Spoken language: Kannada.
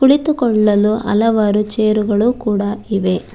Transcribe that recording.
ಕುಳಿತುಕೊಳ್ಳಲು ಹಲವರು ಚೇರುಗಳು ಕೂಡ ಇವೆ.